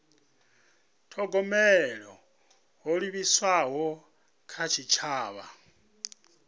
thogomela ho livhiswaho kha tshitshavha